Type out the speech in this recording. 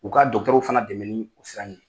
U ka fana dɛmɛ ni o sira in ye.